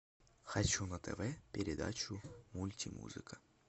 хочу на тв передачу мульти музыка